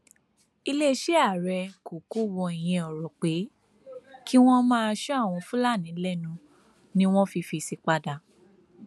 iléeṣẹ ààrẹ kò kò wọ ìyẹn ọrọ pé kí wọn má sọ àwọn fúlàní lẹnu ni wọn fi fèsì padà